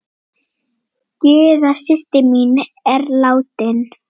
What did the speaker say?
Gyða systir mín er látin.